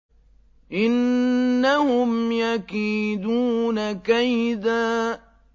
إِنَّهُمْ يَكِيدُونَ كَيْدًا